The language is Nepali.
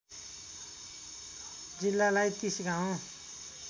जिल्लालाई ३० गाउँ